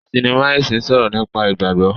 Sinima ẹsìn sọrọ nípa ìgbàgbọ.